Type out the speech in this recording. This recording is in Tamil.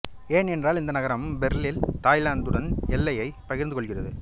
ஏன் என்றால் இந்த நகரம் பெர்லிஸ் தாய்லாந்துடன் எல்லையைப் பகிர்ந்து கொள்கிறது